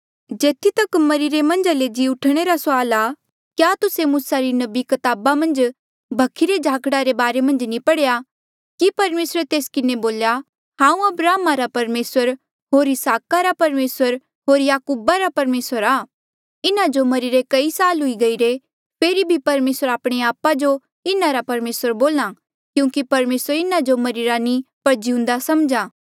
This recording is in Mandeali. जेथी तक मरिरे मन्झा ले जी ऊठणे रा सुआल आ क्या तुस्से मूसा नबी री कताबा मन्झ भखी रे झाकड़ा रे बारे मन्झ नी पढ़ेया कि परमेसरे तेस किन्हें बोल्या हांऊँ अब्राहमा रा परमेसर होर इसहाका रा परमेसर होर याकूबा रा परमेसर आ इन्हा जो मरिरे कई साल हुई गईरे फेरी भी परमेसर आपणे आपा जो इन्हारा परमेसर बोल्हा क्यूंकि परमेसर इन्हा जो मरिरे नी पर जिउंदा समझा